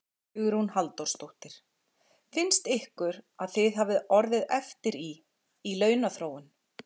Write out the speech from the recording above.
Hugrún Halldórsdóttir: Finnst ykkur að þið hafið orðið eftir í, í launaþróun?